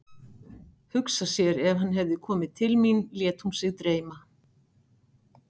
Hugsa sér ef hann hefði komið til mín, lét hún sig dreyma.